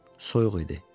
Soyuq idi.